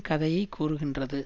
கதையை கூறுகின்றது